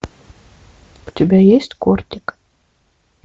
у тебя есть кортик